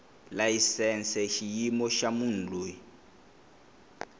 layisense xiyimo xa munhu loyi